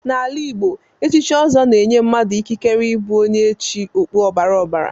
N'ala Igbo, echichi ọzọ na-enye mmadụ ikikere ịbụ onye echi okpu ọbara ọbara.